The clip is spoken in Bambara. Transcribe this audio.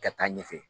Ka taa ɲɛfɛ